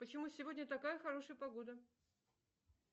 почему сегодня такая хорошая погода